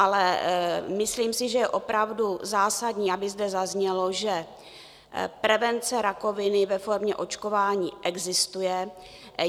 Ale myslím si, že je opravdu zásadní, aby zde zaznělo, že prevence rakoviny ve formě očkování existuje.